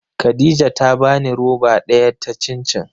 Khadija ta bani roba daya ta cin cin.